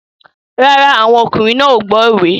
No, the men are not listening to the proverbs